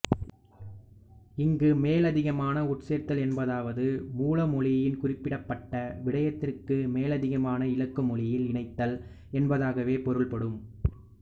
இங்கு மேலதிகமான உட்சேர்த்தல் என்பதாவது மூல மொழியில் குறிப்பிடப்பட்ட விடயத்திற்கு மேலதிகமாக இலக்கு மொழியில் இணைத்தல் என்பதாகவே பொருள்படும்